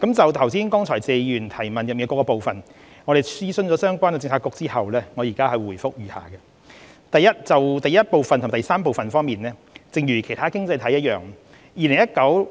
就剛才謝議員提問中的各個部分，經諮詢相關政策局後，我現回覆如下：一及三正如其他經濟體一樣 ，2019